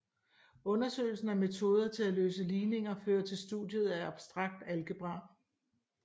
Undersøgelsen af metoder til at løse ligninger fører til studiet af abstrakt algebra